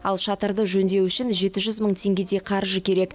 ал шатырды жөндеу үшін жеті жүз мың теңгедей қаржы керек